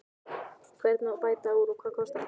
Hvernig á að bæta úr og hvað kostar það?